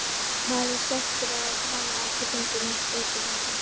Maður er svekktur að hafa ekki fengið neitt út úr þessu.